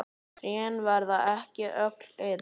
Trén verða ekki öll eins.